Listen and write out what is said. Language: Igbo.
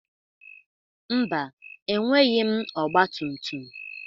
Mba, enweghị m ọgba tum tum.